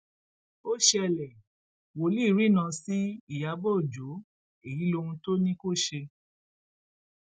ó ṣẹlẹ wòlíì rìnnà sí ìyàbọ ọjọ èyí lohun tó ní kó ṣe